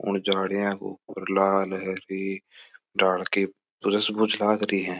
उन झाड़ियों के ऊपर लाल है पिले है झाड़ के कुछ लागरी है।